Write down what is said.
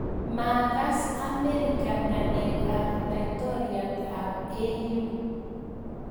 Maakas amerika ngalek ab laitoriat ab AU